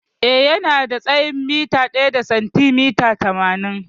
Eh, Yana da tsayin mita ɗaya da sentimita tamanin.